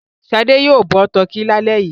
Ṣadé yóò bọ tọkí lálẹ́ yìí.